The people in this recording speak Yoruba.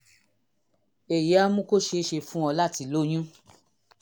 èyí á mú kó ṣe é ṣe fún ọ láti lóyún